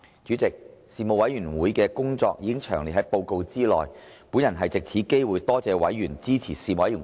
主席，事務委員會的工作已詳列於報告內，本人藉此機會多謝委員支持事務委員會的工作。